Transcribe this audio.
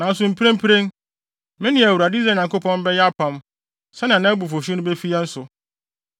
Nanso mprempren, me ne Awurade, Israel Nyankopɔn bɛyɛ apam sɛnea nʼabufuwhyew no befi yɛn so.